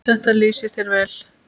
Þetta lýsir þér vel.